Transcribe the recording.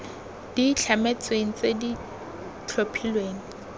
di itlhametsweng tse di tlhophilweng